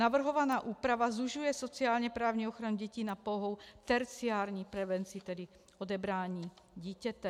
Navrhovaná úprava zužuje sociálně-právní ochranu dětí na pouhou terciární prevenci, tedy odebrání dítěte.